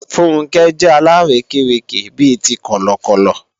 Funke jẹ́ alárékérekè bi ti Kọ̀lọ̀kọ̀lọ̀